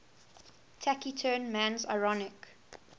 taciturn man's ironic